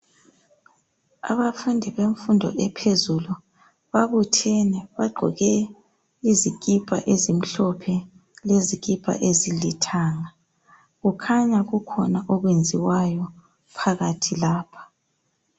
Abafundi bemfundo ephezulu babuthene bagqoke izikipa ezimhlophe lezikipa ezilithanga kukhanya kukhona okwenziwayo phakathi lapha.